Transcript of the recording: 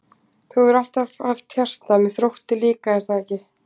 Þú hefur alltaf haft hjarta með Þrótti líka er það ekki?